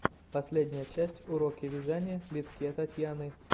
последняя часть уроки вязания литке татьяны